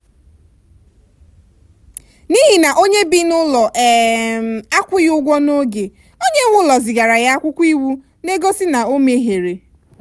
n'ihi na onye bi n'ụlọ um akwụghị ụgwọ n'oge onye nwe ụlọ zigara ya akwụkwọ iwu na-egosi na o mehiere.